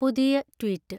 പുതിയ ട്വീറ്റ്